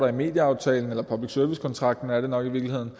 i medieaftalen eller public service kontrakten er det nok i virkeligheden